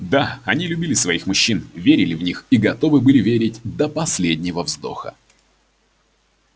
да они любили своих мужчин верили в них и готовы были верить до последнего вздоха